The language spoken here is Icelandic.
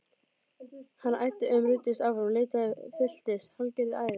Hann æddi um, ruddist áfram, leitaði, fylltist hálfgerðu æði.